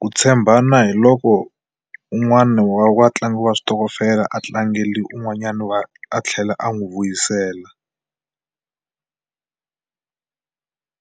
Ku tshembana hi loko un'wana wa vatlangi wa switokofela a tlangeli un'wanyana a tlhela a n'wi vuyisela.